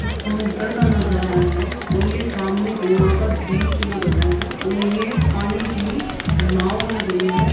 ये समुद्र का नजारा है और ये सामने गोवा का बीच लग रहा है और ये पानी की नाव लग रही है।